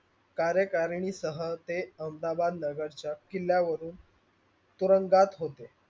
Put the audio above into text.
कार्यकारणी सह ते अहमदाबाद नगर च्या किल्ल्यावरून तुरुंगात होते.